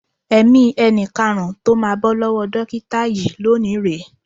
Ẹ̀mí ẹni karùn-ún tó máa bọ́ lọ́wọ́ dókíta yìí lónìí rè é.